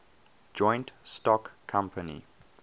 joint stock company